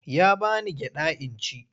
Ya ba ni gyaɗa in ci.